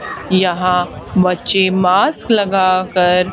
यहां बच्चे मास्क लगा कर--